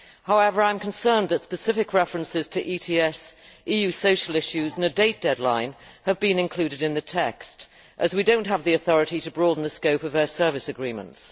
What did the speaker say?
However, I am concerned that specific references to ETS, EU social issues and a date deadline have been included in the text, as we do not have the authority to broaden the scope of air service agreements.